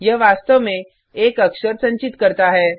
यह वास्तव में एक अक्षर संचित कर करता है